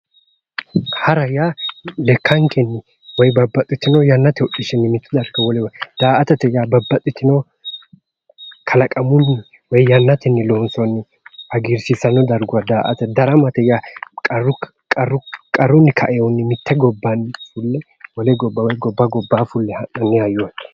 Hara yaa lekkankenni, woyi babbaxitino yannate hodhishshinni wolewa, daa"atate yaa babbaxitino kalaqamunni woyi yannatenni loonsoonni hgiirsiissanno darguwa daa"ata. daramate yaa qarrunni kaewoohunni mitte gobbanni fulle wole gobba woy gobba gobbaanni ha'nanni hayyooti.